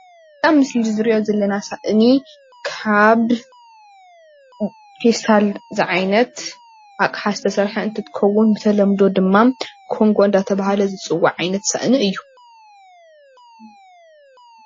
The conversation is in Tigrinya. አብዚ ምስሊ እንሪኦ ዘለና ስኣኒ ካብ ፌስታል ዘዓይነት አቕሓ ዝተስርሐ እንትከዉን ብተለምዶ ድማ ኮንጎ እንተባህለ ዝፀዋዕ ዓይነት ሰአኒ እዩ፡፡